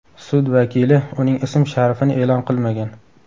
Sud vakili uning ism-sharifini e’lon qilmagan.